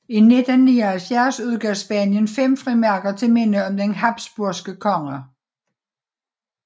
I 1979 udgav Spanien fem frimærker til minde om de habsburgske konger